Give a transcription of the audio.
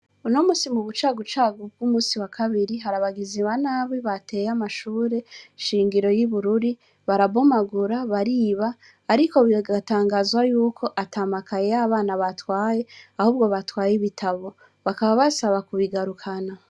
Unomusi mubu cagu cagu bw'umunsi wa kabiri, hari abagizi ba nabi bateye amashure shingiro y'ibururi, barabomagura bariba ariko bigatangazwa ko atamakaye y'abana bateye ahubwo batwaye ibitabo, bakaba basaba kubigarukana.